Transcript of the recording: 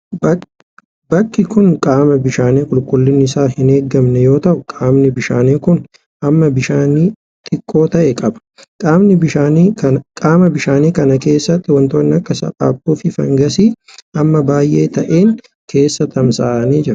Bakki kun qaama bishaanii qulqullinni isaa hin eegamne yoo ta'u, qaamni bishaanii kun hamma bishaanii xiqqoo ta'e qaba. Qaama bishaanii kana keessa wantoonni akka saaphaphuu fi fangasii hamma baay'ee ta'een keessa tamasa'anii jiru.